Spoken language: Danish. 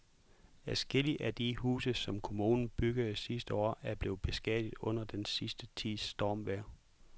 Adskillige af de huse, som kommunen byggede sidste år, er blevet beskadiget under den sidste tids stormvejr.